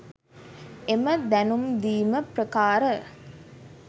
එම දැනුම්දීම ප්‍රකාර